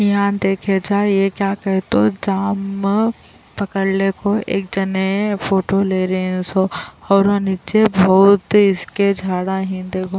یہاں جا کر دیکھیں کہ کیا کرنا ہے تو قمیض پکڑی، ایک شخص فوٹو کھینچ رہا ہے اور دیکھو، اس کے نیچے بہت دھول ہے۔.